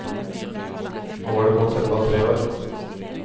Nå var det gått enda tre år.